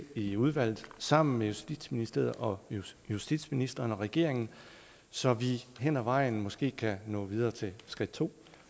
i udvalget sammen med justitsministeriet og justitsministeren og regeringen så vi hen ad vejen måske kan nå videre til skridt to